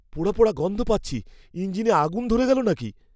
পোড়া পোড়া গন্ধ পাচ্ছি। ইঞ্জিনে আগুন ধরে গেল নাকি?